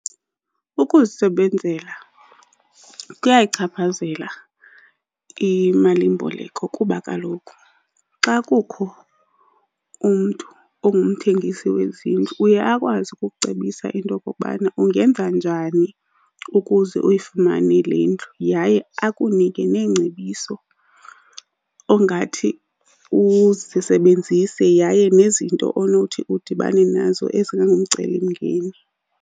Ukuzisebenzela kuyayichaphazela imalimboleko kuba kaloku xa kukho umntu ongumthengisi wezindlu uye akwazi ukukucebisa into yokokubana ungenza njani ukuze uyifumane le ndlu. Yaye akunike neengcebiso ongathi uzisebenzise yaye nezinto onothi udibane nazo ezingangumcelimngeni.